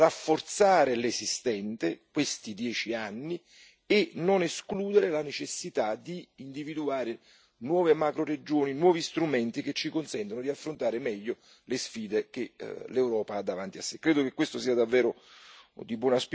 Infine è importante rafforzare l'esistente, questi dieci anni, e non escludere la necessità di individuare nuove macroregioni e nuovi strumenti che ci consentano di affrontare meglio le sfide che l'Europa ha davanti a sé.